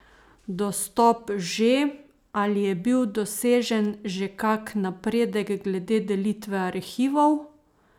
Dostop že, ali je bil dosežen že kak napredek glede delitve arhivov?